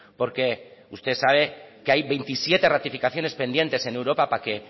porque usted sabe que hay veintisiete ratificaciones pendientes en europa para que